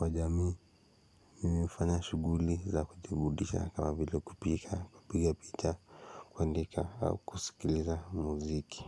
wa jamii mimi hufanya shuguli za kujiburudisha kama vile kupika kupiga picha kuandika au kusikiliza muziki.